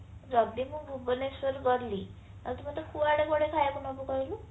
ଯଦି ମୁଁ ଭୁବନେଶ୍ୱର ଗଲି ଆଉ ତୁ ମତେ କୁଆଡେ କୁଆଡେ ଖାଇବାକୁ ନବୁ କହିଲୁ